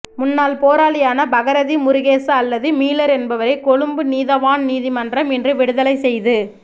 முன்னாள் போராளியான பகிரதி முருகேசு அல்லது மீலர் என்பவரை கொழும்பு நீதவான் நீதிமன்றம் இன்று விடுதலை செய்து